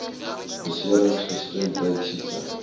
beserings gestremdheid siekte